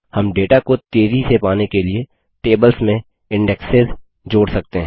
हम डेटा को तेज़ी से पाने के लिए टेबल्स में इन्डेक्सिज़सूचियाँ जोड़ सकते हैं